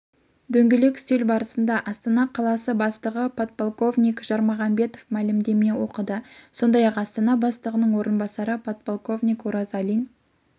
дөңгелек үстел барысында астана қаласы бастығы подполковник жармағамбетов мәлімдеме оқыды сондайақ астана бастығының орынбасары подполковник оразалин